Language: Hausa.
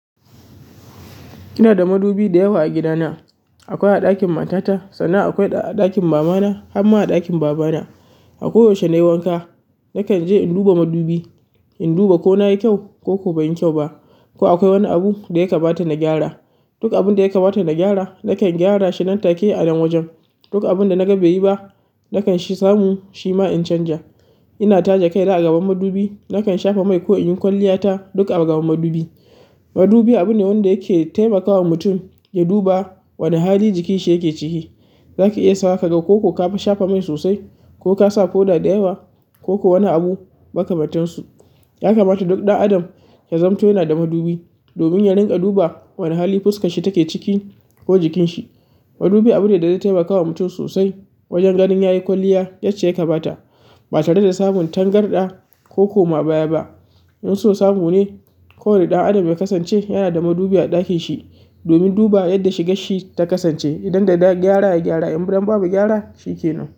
Ina da madubi da yawa a gida na. Akwai a ɗakin matata, sannan akwai a ɗakin mamana, har ma a ɗakin babana. A ko yaushe nayi wanka. Nakan je in duba madubi, in duba ko na yi kyau ko kuwa ban yi kyau ba, ko akwai wani abu da ya kamata na gyara. Duk abin da ya kamata na gyara, nakan gyara shi nan take a nan wajen. Duk abun da naga bai yi ba, nakan samu shi ma in canja. Ina taje kai na a gaban madubi. Nakan shafa mai ko in yi kwalliyata, duk a gaban madubi. Madubi abu ne wanda yake taimakawa mutum ya duba wane hali jikin shi yake ciki. Zaki iya sawa, ka ga ko ka shafa mai sosai, ko ka sa powder da yawa, ko kuwa wani abu makamantan su. Ya kamata duk ɗan adam ya zamto yana da madubi domin ya rinƙa duba wane hali fuskarshi take ciki ko jikin shi. Madubi abu ne da zai taimakawa mutum sosai wajen ganin ya yi kwalliya yacce ya kamata, ba tare da samun tangarɗa ko koma baya ba. In so samu ne, ko wanne ɗan adam ya kasance yana da madubi a ɗakin shi, domin duba yanda shigar shi ta kasance. Idan da gyara, ya gyara. In biran babu gyara, shi kenan.